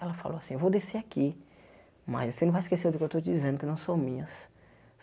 Ela falou assim, eu vou descer aqui, mas você não vai esquecer do que eu estou dizendo, que não são minhas.